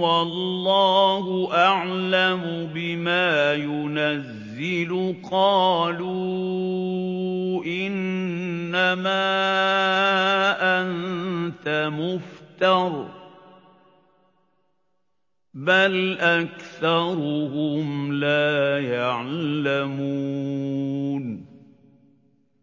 وَاللَّهُ أَعْلَمُ بِمَا يُنَزِّلُ قَالُوا إِنَّمَا أَنتَ مُفْتَرٍ ۚ بَلْ أَكْثَرُهُمْ لَا يَعْلَمُونَ